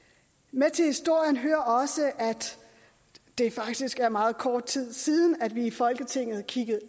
med til historien hører også at det faktisk er meget kort tid siden at vi i folketinget kiggede